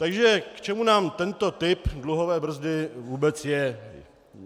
Takže k čemu nám tento typ dluhové brzdy vůbec je?